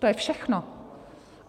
To je všechno.